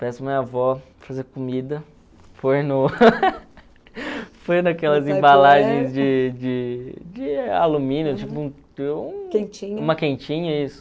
peço a minha avó fazer comida, naquelas embalagens de de de alumínio, uma quentinha, isso.